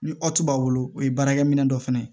Ni b'a bolo o ye baarakɛ minɛ dɔ fana ye